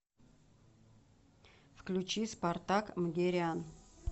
включи спартак мгерян